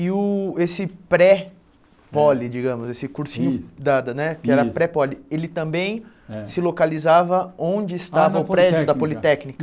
E o esse pré-pole, digamos, esse cursinho dada né, que era pré-pole, ele também se localizava onde estava o prédio da Politécnica?